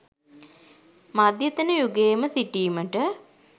මධ්‍යතන යුගයේම සිටීමට